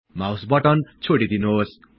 mouse button छोडिदिनुहोस्